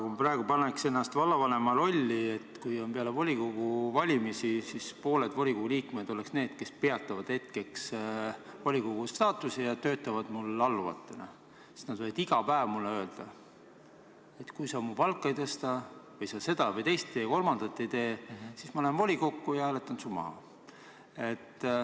Ma praegu paneks ennast vallavanema rolli: peale volikogu valimisi pooled volikogu liikmed oleksid need, kes peatavad hetkeks volikogu liikme staatuse ja töötavad minu alluvatena ja võivad iga päev mulle öelda, et kui sa mu palka ei tõsta või seda või teist või kolmandat ei tee, siis ma lähen volikokku ja hääletan su maha.